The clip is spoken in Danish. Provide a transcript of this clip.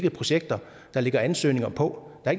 af projekter der ligger ansøgninger på